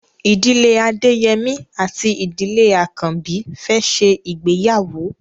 Ìdílé Adeyemi àti Ìdílé Akanbi fè ṣe ìgbéyàwó.